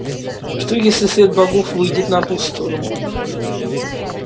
что если след богов выйдет на ту сторону